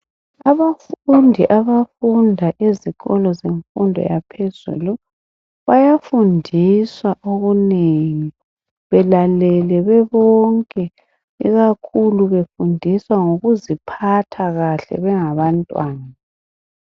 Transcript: Abafundi abafunda ezikolo zemfundo yaphezulu, bayafundiswa okunengi. Belalele bebonke, ikakhulu befundiswa ngokuziphatha kahle bengabantwana.